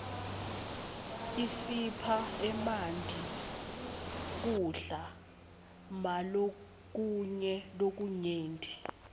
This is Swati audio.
isipha emanti kudla malokunye lokunyenti